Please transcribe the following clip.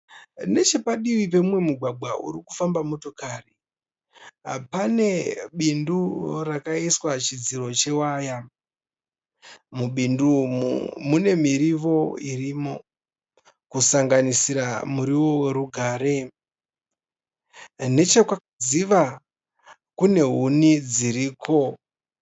Nechepadivi pemumwe mugwagwa uri kufamba motokari pane bindu rakaiswa chidziro chewaya. Mubindu umu mune mirivo yakawanda kusanganisira murivo werugare. Nechekwakadziva kune huni dziriko.